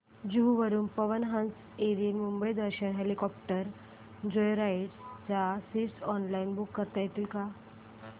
जुहू वरून Pawan Hans aerial Mumbai Darshan helicopter joyride च्या seats online book करता येतील का